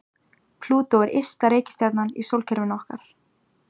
Plútó er ysta reikistjarnan í sólkerfinu okkar.